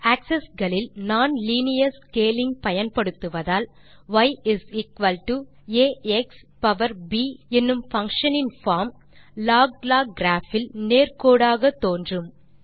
access களில் nonlinear scaling பயன்படுத்துவதால் ய் ஆக்ஸ்ப் என்னும் பங்ஷன் இன் பார்ம் log லாக் கிராப் இல் நேர் கோடாக தோன்றும்